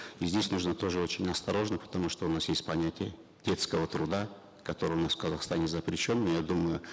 и здесь нужно тоже очень осторожно потому что у нас есть понятие детского труда который у нас в казахстане запрещен но я думаю